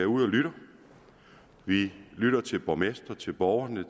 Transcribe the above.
ud og lytter vi lytter til borgmestrene til borgerne